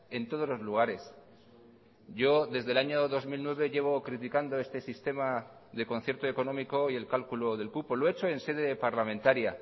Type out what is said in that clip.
en todos los lugares yo desde el año dos mil nueve llevo criticando este sistema de concierto económico y el cálculo del cupo lo he hecho en sede parlamentaria